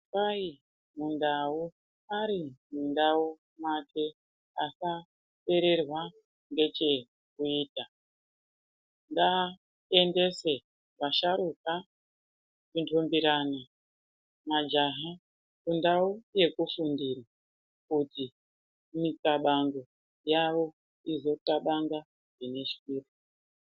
Kwai mundau ari mundau make asapererwa ngechekuita ngaatengese, vasharuka kundumbirana , majaha kundau yekufundira kuti mikabango yavo izvoxabanga zvineshwiro.